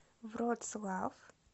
вроцлав